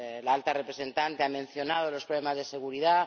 La Alta Representante ha mencionado los problemas de seguridad